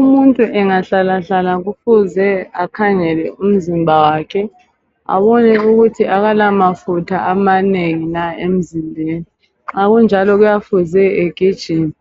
Umuntu engahlalahlala kufuze akhangele umzimba wakhe abone ukuthi akala mafutha amanengi na emzimbeni, nxa kunjalo kuyafuze egijime.